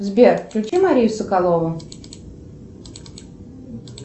сбер включи марию соколову